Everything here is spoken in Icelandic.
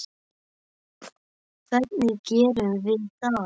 Hvernig gerum við það?